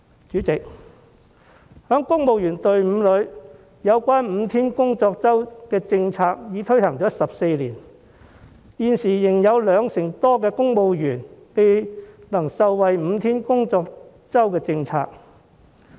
主席，在公務員隊伍中 ，5 天工作周的政策已經推行了14年，但現時仍有兩成多公務員未能受惠於5天工作周的政策。